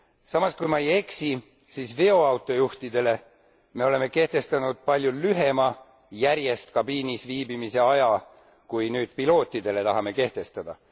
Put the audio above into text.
Samas, kui ma ei eksi, oleme me veoautojuhtidele kehtestanud palju lühema järjest kabiinis viibimise aja, kui nüüd pilootidele tahame kehtestada.